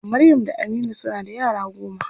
Maryam da Aminu suna da yara goma.